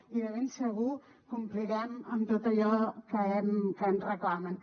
i de ben segur complirem amb tot allò que ens reclamen